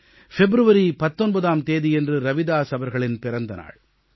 பிப்ரவரி 19ஆம் தேதியன்று ரவிதாஸ் அவர்களின் பிறந்த நாள்